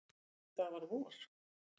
Því það var vor.